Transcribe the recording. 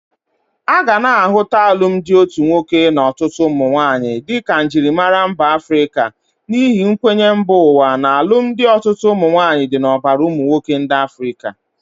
Aga na ahụta alụmdị otu nwoke na ọtụtụ ụmụnwaanyi di ka njịrịmara mba Afrịka n'ihi nkwenye mba ụwa na alumdi ọtụtụ ụmụnwaanyị di n'ọbara ụmụnwoke ndi Afrịka.